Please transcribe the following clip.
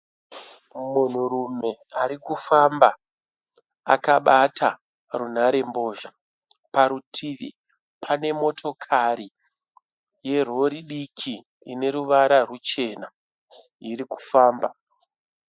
Munhurume arikufamba akabata runharembozha. Parutivi pane motokari yerori diki ine ruvara ruchena irikufamba.